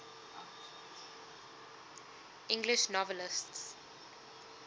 english novelists